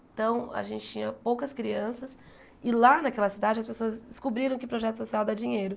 Então, a gente tinha poucas crianças e lá naquela cidade as pessoas descobriram que projeto social dá dinheiro.